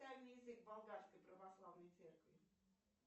дай мне язык болгарской православной церкви